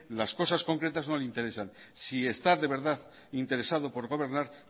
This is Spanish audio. las cosas concretas no le interesan si está de verdad interesado por gobernar